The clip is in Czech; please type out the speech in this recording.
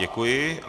Děkuji.